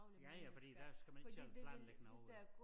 Ja ja fordi der skal man ikke selv planlægge noget